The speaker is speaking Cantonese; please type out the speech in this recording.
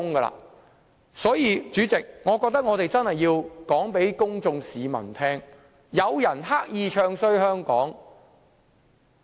代理主席，我覺得我們真的要告訴市民大眾，有人刻意"唱衰"香港。